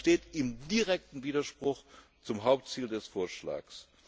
Das steht in direktem Widerspruch zum Hauptziel des Vorschlags.